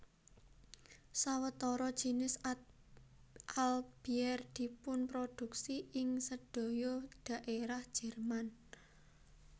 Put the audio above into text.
Sawetara jinis Altbier dipunproduksi ing sedaya daerah Jerman